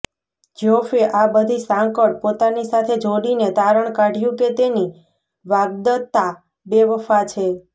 જ્યોફે આ બધી સાંકળ પોતાની સાથે જોડીને તારણ કાઢ્યુ કે તેની વાગ્દત્તા બેવફા છે